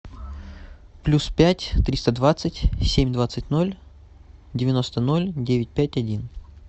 плюс пять триста двадцать семь двадцать ноль девяносто ноль девять пять один